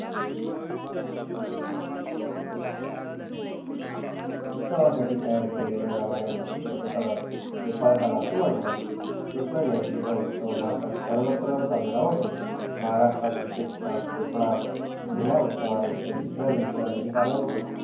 उत्सवासाठी तयार केलेल्या जाणाऱ्या विशिष्ठ प्रसादाला गोपाल काला असे म्हणतात. कृष्ण जयंतीचा उत्सव भारतात सर्वत्र साजरा होतो. महाराष्ट्रात विशेषतः कोकणात आणि या उत्सवानिमित्त दुसऱ्या दिवशीला दही